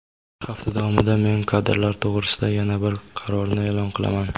Hafta davomida men kadrlar to‘g‘risida yana bir qarorni e’lon qilaman.